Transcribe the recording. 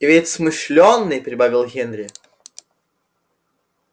и ведь смышлёный прибавил генри